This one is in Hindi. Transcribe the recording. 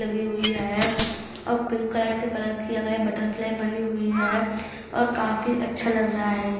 लगी हुई है और पिंक कलर से कलर किया गया है। बटरफ्लाय बनी हुई है और काफी अच्छा लग रहा है।